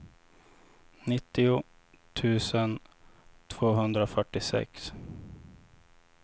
nittio tusen tvåhundrafyrtiosex